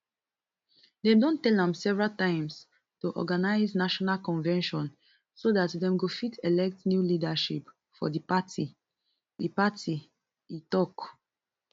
dem don tell am several times to organise national convention so dat dem go fit elect new leadership for di party e party e tok